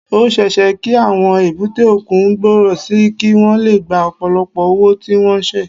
Ó ṣeé ṣe kí àwọn èbúté òkun gbòòrò sí i kí wọ́n lè gba ọ̀pọ̀lọpọ̀ òwò tí wọ́n ń ṣe